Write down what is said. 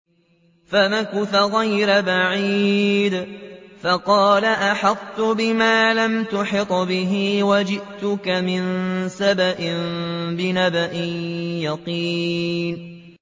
فَمَكَثَ غَيْرَ بَعِيدٍ فَقَالَ أَحَطتُ بِمَا لَمْ تُحِطْ بِهِ وَجِئْتُكَ مِن سَبَإٍ بِنَبَإٍ يَقِينٍ